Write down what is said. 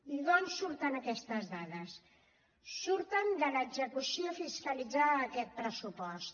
i d’on surten aquestes dades surten de l’execució fiscalitzada d’aquest pressupost